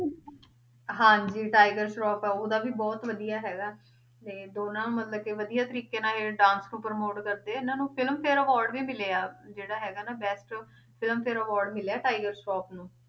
ਹਾਂਜੀ ਟਾਇਗਰ ਸਰਾਫ਼ ਆ ਉਹਦਾ ਵੀ ਬਹੁਤ ਵਧੀਆ ਹੈਗਾ ਤੇ ਦੋਨਾਂ ਮਤਲਬ ਕਿ ਵਧੀਆ ਤਰੀਕੇ ਨਾਲ ਇਹ dance ਨੂੰ promote ਕਰਦੇ ਆ, ਇਹਨਾਂ ਨੂੰ film ਫੇਅਰ award ਵੀ ਮਿਲੇ ਆ, ਜਿਹੜਾ ਹੈਗਾ ਨਾ best film ਫੇਅਰ award ਮਿਲਿਆ ਟਾਈਗਰ ਸਰਾਫ਼ ਨੂੰ